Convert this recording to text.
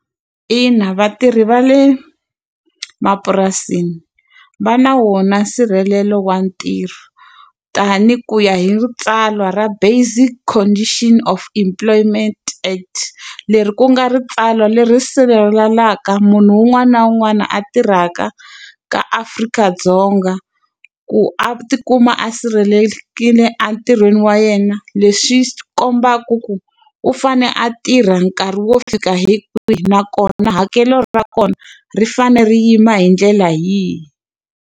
Ina vatirhi va le mapurasini va na wona nsirhelelo wa ntirho tanihi ku ya hi tsalwa ra basic condition of employment act. Leri ku nga ri tsalwa leri sirhelelaka munhu un'wana na un'wana a tirhaka ka Afrika-Dzonga. Ku a ti kuma a sirhelelekile a entirhweni wa yena, leswi swi kombaka ku u fanele a tirha nkarhi wo fika hi kwihi nakona hakelo ra kona ri fanele ri yima hi ndlela yihi.